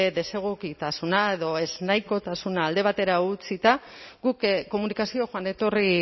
desegokitasuna edo zenahikotasuna alde batera utzita guk komunikazio joan etorri